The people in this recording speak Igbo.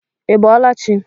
Í bọọla chị?